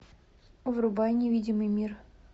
врубай невидимый мир